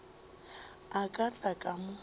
a ka tla ka mo